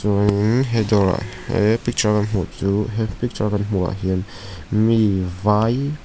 chuan in he dawr ah he picture a kan hmuh chu he picture a kan hmuh ah hian mi vai.